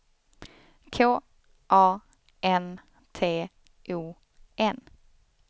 K A N T O N